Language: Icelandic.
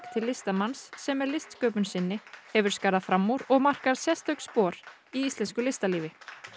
til listamanns sem með listsköpun sinni hefur skarað fram úr og markað sérstök spor í íslensku listalífi